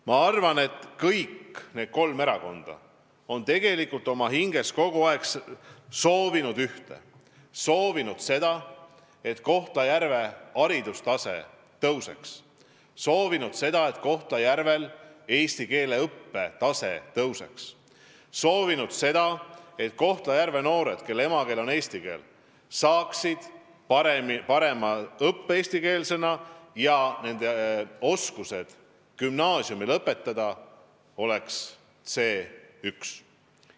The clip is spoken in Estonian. Ma arvan, et kõik need kolm erakonda on oma hinges kogu aeg soovinud ühte: soovinud seda, et Kohtla-Järvel haridustase tõuseks, et Kohtla-Järvel eesti keele õppe tase tõuseks, et Kohtla-Järve noored, kelle emakeel ei ole eesti keel, saaksid paremat eestikeelset õpet ja nende tase gümnaasiumi lõpetamisel oleks C1.